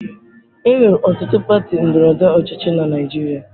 Enwere ọtụtụ pati ndọrọ ndọrọ ọchịchị na Naịjirịa.